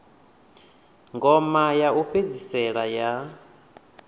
ngoma ya u fhedzisela ya